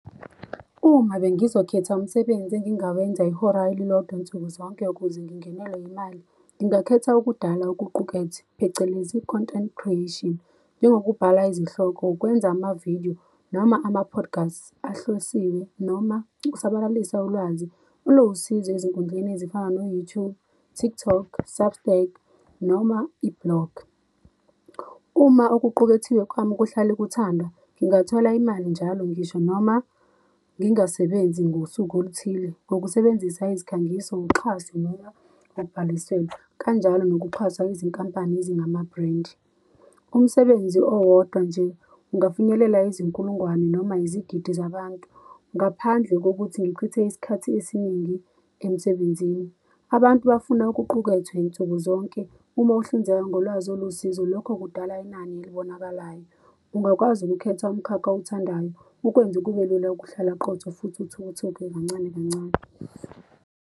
Uma bengizokhetha umsebenzi engingawenza ihora elilodwa nsuku zonke, ukuze ngingenelwe imali, ngingakhetha ukudala okuqukethwe, phecelezi i-content creation, njengokubhala izihloko, ukwenza amavidiyo, noma ama-podcast ahlosiwe, noma ukusabalalisa ulwazi oluwusizo ezinkundleni ezifana no-YouTube, TikTok, Substack, noma i-blog. Uma okuqukethiwe kwami kuhlale kuthandwa, ngingathola imali njalo ngisho noma ngingasebenzi ngosuku oluthile. Ngokusebenzisa izikhangiso, uxhaso noma babhaliselwe, kanjalo nokuxhaswa izinkampani ezingama-brand. Umsebenzi owodwa nje ungafinyelela izinkulungwane, noma izigidi zabantu, ngaphandle kokuthi ngichithe isikhathi esiningi emsebenzini. Abantu bafuna okuqukethwe nsuku zonke. Uma uhlinzeka ngolwazi oluwusizo, lokho kudala inani elibonakalayo. Ungakwazi ukukhetha umkhakha owuthandayo, ukwenza kube lula ukuhlala qotho, futhi uthuthuke kancane kancane.